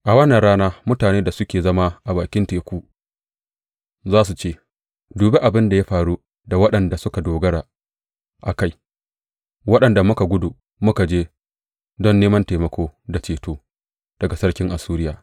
A wannan rana mutanen da suke zama a bakin teku za su ce, Dubi abin da ya faru da waɗanda muka dogara a kai, waɗanda muka gudu muka je don neman taimako da ceto daga sarkin Assuriya!